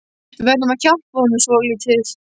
Við verðum að hjálpa honum svolítið